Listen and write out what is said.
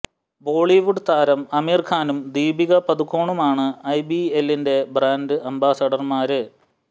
ബോളിവുഡ് താരം അമിര് ഖാനും ദീപിക പദുക്കോണുമാണ് ഐബിഎലിന്റെ ബ്രാന്ഡ് അംബാസഡര്മാര്